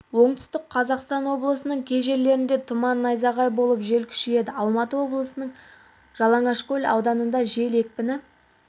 оңтүстік қазақстан облысының кей жерлерінде тұман найзағай болып жел күшейеді алматы облысының жалаңашкөл ауданында жел екпіні